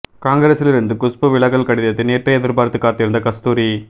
காங்கிரஸில் இருந்து குஷ்பு விலகல் கடிதத்தை நேற்றே எதிர்பார்த்து காத்திருந்த கஸ்தூரி